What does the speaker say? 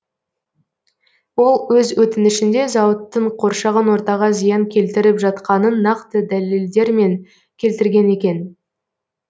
ол өз өтінішінде зауыттың қоршаған ортаға зиян келтіріп жатқанын нақты дәлелдермен келтірген екен